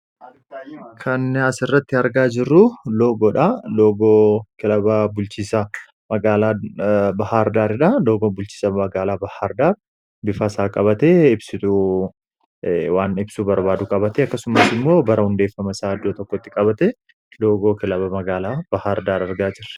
kanyaas irratti argaa jirru lgoodha lbulchiisabahaardaardha logoo bulchiisa magaalaa bahaardaa bifaasaa qabate iwaan ibsuu barbaadu qabate akkasumas immoo bara hundeeffama isaa addoo tokkotti qabate logoo kilaba magaalaa bahaardaadargaa jira